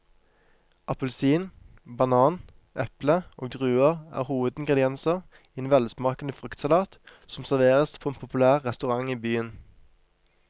Appelsin, banan, eple og druer er hovedingredienser i en velsmakende fruktsalat som serveres på en populær restaurant i byen.